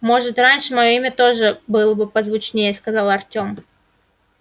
может раньше моё имя тоже было позвучнее сказал артем